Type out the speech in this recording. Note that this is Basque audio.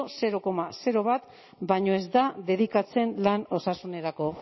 zero koma bat baino ez da dedikatzen lan osasunerako